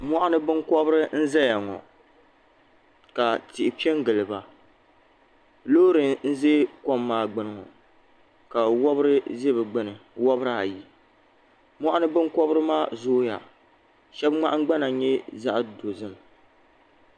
Moɣuni binkobiri n zaya ŋɔ ka tihi kongili ba loori n ʒɛ kom maa gbini ŋɔ ka wobri ʒɛ bɛ gbini wobri ayi moɣuni binkobri maa zooya sheba ŋmahingbana nyɛ zaɣa dozim.